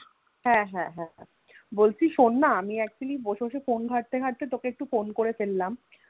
হ্যা হ্যা হ্যা হ্যা বলছি শোনা আমি Actually বসে বসে Phone ঘাটতে ঘাটতে তোকে একটু phone করে ফেললাম